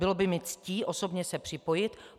Bylo by mi ctí osobně se připojit.